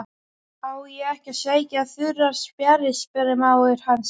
Á ég ekki að sækja þurrar spjarir? spurði mágur hans.